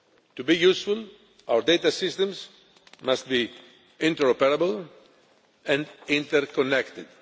To be useful, our data systems must be interoperable and interconnected.